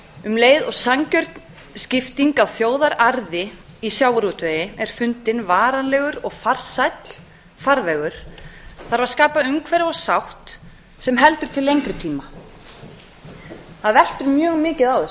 um leið og sanngjörn skipting á þjóðararði í sjávarútvegi er fundinn varanlegur og farsæll farvegur þarf að skapa umhverfi og sátt sem heldur til lengri tíma það veltur mjög mikið á